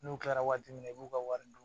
N'u kɛra waati min na i b'u ka wari dun